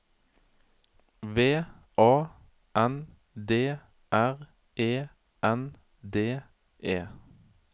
V A N D R E N D E